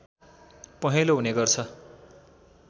पहेँलो हुने गर्छ